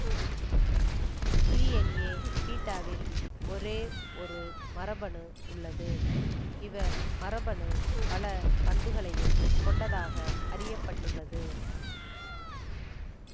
DNA பீட்டாவில் ஒரே ஒரு மரபணு உள்ளது இவ் மரபணு பல பண்புகளையும் கொண்டதாக அறிய பட்டுள்ளது